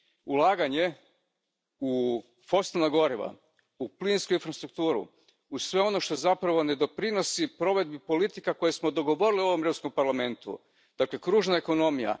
Ulaganjem u fosilna goriva, u plinsku infrastrukturu, u sve ono što zapravo ne doprinosi provedbi politika koje smo dogovorili u Europskom parlamentu, dakle, kružna ekonomija.